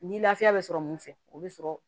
Ni lafiya bɛ sɔrɔ mun fɛ o bɛ sɔrɔ